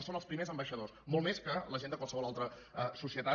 en són els primers ambaixadors molt més que la gent de qualsevol altra societat